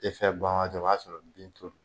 Efɛ ban waati o b'a sɔrɔ bin to